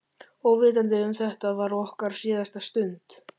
Óvitandi um að þetta var okkar síðasta stund.